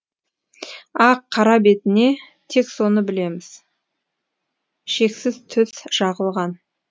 ақ қара бетіне тек соны білеміз шексіз түс жағылған